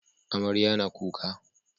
Amarya na kuka